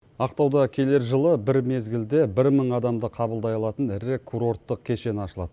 ақтауда келер жылы бір мезгілде бір мың адамды қабылдай алатын ірі курорттық кешен ашылады